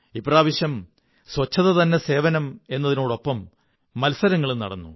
ഇപ്രാവശ്യം ശുചിത്വം തന്നെ സേവനം എന്നതിനോടൊപ്പം മത്സങ്ങളും നടന്നു